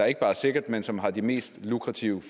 ikke bare er sikkert men som har de mest lukrative